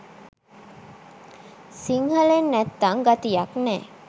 සිංහලෙන් නැත්තං ගතියක් නෑ